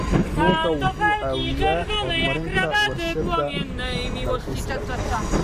Kalluunku wuxuu caawiyaa horumarinta warshadaha dalxiiska.